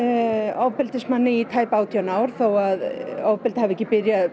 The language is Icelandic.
ofbeldismanni í tæp átján ár þó svo ofbeldið hafi ekki byrjað